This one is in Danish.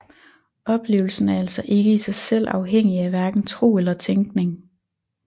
Oplevelsen er altså ikke i sig selv afhængig af hverken tro eller tænkning